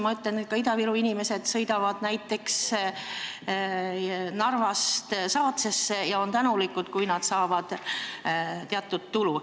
Ma ütlen, et ka Ida-Viru inimesed sõidavad näiteks Narvast Saatsesse ja on tänulikud, kui nad saavad teatud tulu.